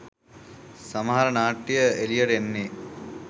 සමහර නාට්‍ය එළියට එන්නෙ.